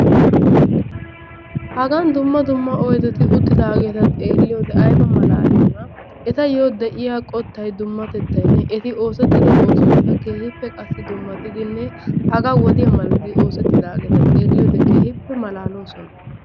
Hagan dumma dumma oydeti uttidaageeta xeelliyode ayba malaaliyanaa. Etayyo de'iya qottayi dummatettaynne eti oosettido oosoykka keehippe qassi dummatidinne hagaa wodiya malatidi malatidi oosettidaageeta xeelliyode keehippe malaaloosona.